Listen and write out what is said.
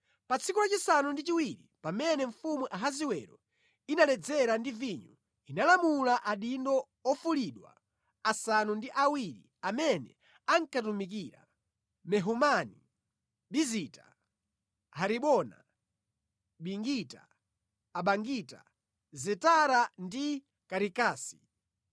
Pa tsiku la chisanu ndi chiwiri, pamene mfumu Ahasiwero inaledzera ndi vinyo, inalamula adindo ofulidwa asanu ndi awiri amene ankamutumikira: Mehumani, Bizita, Haribona, Bigita, Abagita, Zetara, ndi Karikasi